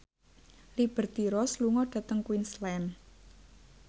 Liberty Ross lunga dhateng Queensland